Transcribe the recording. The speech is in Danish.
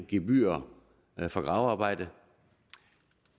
gebyrer for gravearbejde